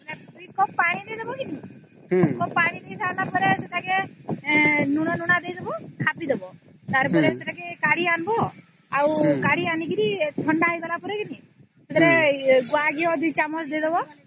ସେଇଟା ହେଇଗଲା ପରେ ଟିକେ ପାଣିଦେବା ପାନିଫୁଟାଇଗଲେ ସେଇଟାକୁ ଆଣିଦେବ ଆଉ ୨ ଚାମଚ ଘିଅ ପକେଇକି ତାଙ୍କୁ ବାଧିଦେବ -ହୁଁ ହୁଁ ହୁଁ